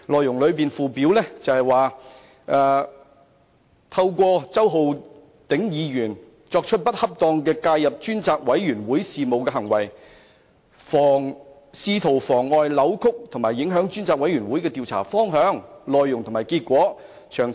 議案附表指梁振英先生"透過本會周浩鼎議員作出不恰當地介入專責委員會事務的行為，試圖妨礙、扭曲或影響專責委員會的調查方向、內容及結果"。